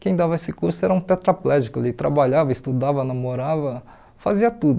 Quem dava esse curso era um tetraplégico, ele trabalhava, estudava, namorava, fazia tudo.